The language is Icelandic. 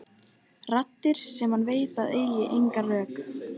Raddir sem hann veit að eiga sér engin rök.